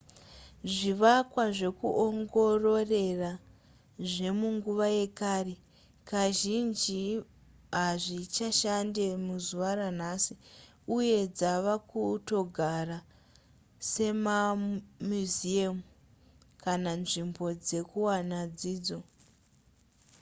zvivakwa zvekuongororera zvemunguva yekare kazhinji hazvichashande muzuva ranhasi uye dzava kutogara semamuseum kana nzvimbo dzekuwana dzidzo